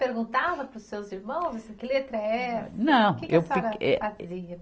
perguntava para os seus irmãos, assim, que letra é essa? Não, eu. Que que a senhora fazia